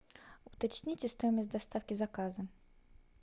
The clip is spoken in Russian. уточните стоимость доставки заказа